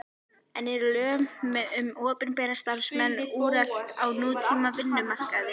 En eru lög um opinbera starfsmenn úrelt á nútíma vinnumarkaði?